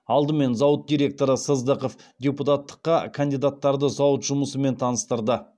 алдымен зауыт директоры сыздықов депутаттыққа кандидаттарды зауыт жұмысымен таныстырды